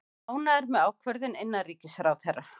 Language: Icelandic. Ánægðir með ákvörðun innanríkisráðherra